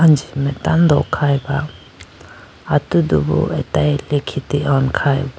anji mai tando khaye ba atudu atage likhite hone khyba.